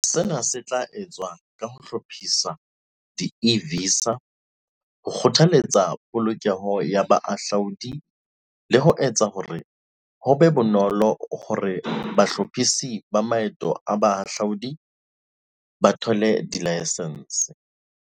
Sena se tla etswa ka ho hlahisa di-e-visa, ho kgothaletsa polokeho ya bahahlaudi le ho etsa hore ho be bonolo hore bahlophisi ba maeto a bahahlaodi ba thole dilaesense.